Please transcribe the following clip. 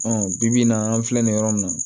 bibi in na an filɛ nin yɔrɔ nin na